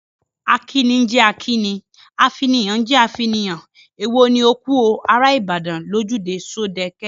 Akíni ń jẹ́ akíni, afinihàn ń jẹ́ afinihàn, èwo ni ‘‘O kú o, ará Ìbàdàn’’ lójúde Ṣódẹke?